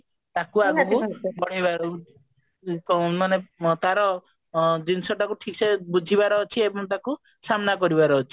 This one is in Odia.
ତାକୁ ଆମେ ଏ କ ମାନେ ତାର ଅ ଜିନିଷ ଟାକୁ ଠିକ ସେ ବୁଝିବାର ଅଛି ଏବଂ ତାକୁ ସାମ୍ନା କରିବାର ଅଛି